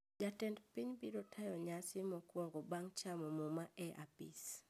Jatend piny biro tayo nyasi mokuongo bang` chamo muma e apis